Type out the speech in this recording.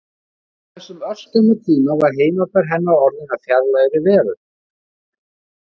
Á þessum örskamma tíma var heimabær hennar orðinn að fjarlægri veröld.